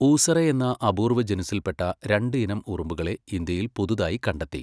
ഊസറെ എന്ന അപൂർവ്വ ജനുസ്സിൽ പെട്ട രണ്ട് ഇനം ഉറുമ്പുകളെ ഇന്ത്യയിൽ പുതുതായി കണ്ടെത്തി.